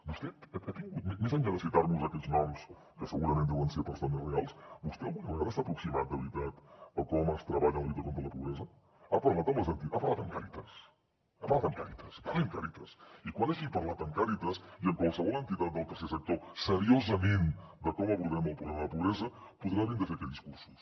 vostè més enllà de citar nos aquests noms que segurament deuen ser persones reals vostè alguna vegada s’ha aproximat de veritat a com es treballa en la lluita contra la pobresa ha parlat amb càritas ha parlat amb càritas parli amb càritas i quan hagi parlat amb càritas i amb qualsevol entitat del tercer sector seriosament de com abordem el problema de la pobresa podrà vindre aquí a fer discursos